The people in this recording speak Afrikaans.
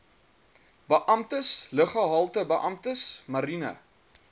beamptes luggehaltebeamptes mariene